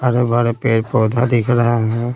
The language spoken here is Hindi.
हरे भरे पेड़ पौधा दिख रहा है।